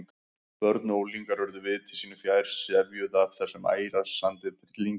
Börn og unglingar urðu viti sínu fjær, sefjuð af þessum æsandi tryllingi.